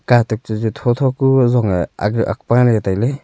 katuk tochu tho tho ku zong e aga ak paley tailey.